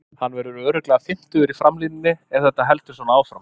Hann verður örugglega fimmtugur í framlínunni ef þetta heldur svona áfram.